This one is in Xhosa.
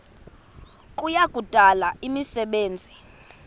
kuya kudala imisebenzi